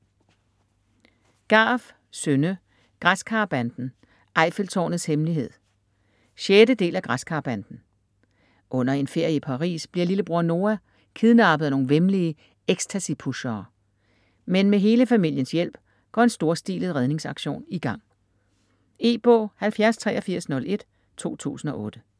Garff, Synne: Græskarbanden - Eiffeltårnets hemmelighed 6. del af Græskarbanden. Under en ferie i Paris bliver lillebror Noa bliver kidnappet af nogle væmmelige extacy-pushere. Men med hele familiens hjælp går en storstilet redningsaktion i gang. E-bog 708301 2008.